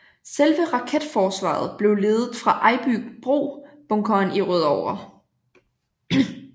Selve raketforsvaret blev ledet fra Ejbybro Bunkeren i Rødovre